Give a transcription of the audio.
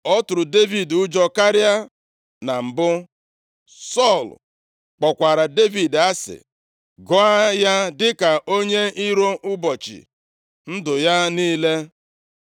ọ tụrụ Devid ụjọ karịa na mbụ. Sọl kpọkwara Devid asị, gụọ ya dịka onye iro ụbọchị ndụ ya niile.